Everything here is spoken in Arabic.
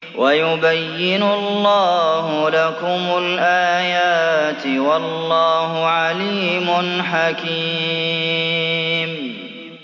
وَيُبَيِّنُ اللَّهُ لَكُمُ الْآيَاتِ ۚ وَاللَّهُ عَلِيمٌ حَكِيمٌ